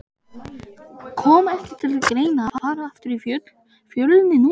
Kom ekki til greina að fara aftur í Fjölni núna?